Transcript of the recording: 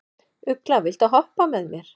Ugla, viltu hoppa með mér?